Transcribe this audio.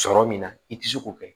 Sɔrɔ min na i tɛ se k'o kɛ